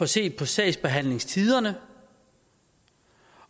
set på sagsbehandlingstiderne